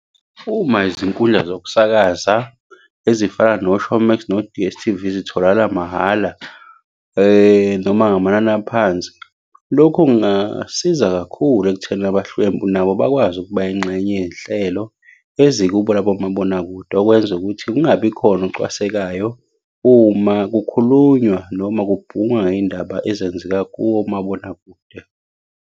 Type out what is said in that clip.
Uma izinkundla zokusakaza ezifana no-Showmax, no-D_S_T_V, zitholakala mahhala noma ngamanani aphansi, lokhu kungasiza kakhulu ekuthenini abahlwempu nabo bakwazi ukuba yingxenye yey'nhlelo ezikubo labo mabonakude okwenza ukuthi kungabi khona ocwasekayo uma kukhulunywa noma kubhungwa iy'ndaba ezenzeka komabonakude.